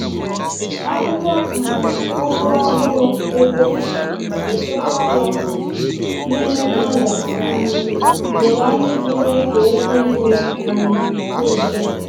Akwụkwọ um ugu ọhụrụ e bee, echekwaa ya n’ime nylon um doro anya iji mee ka esi nri um dị mfe.